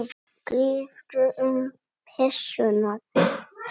Gríptu um pussuna á þeim.